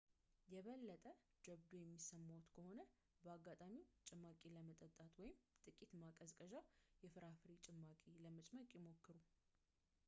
የበለጠ ጀብዱ የሚሰማዎት ከሆነ በአጋጣሚው ጭማቂ ለመጠጣት ወይም ጥቂት ማቀዝቀዣ የፍራፍሬ ጭማቂዎችን ለመጭመቅ ይሞክሩ